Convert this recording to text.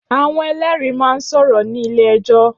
Áwòn èlèrí má n sòrò ni ilé èjò